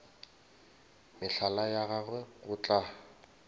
mehlala ya gago go tla